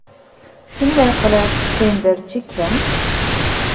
Shunday qilib, tenderchi kim?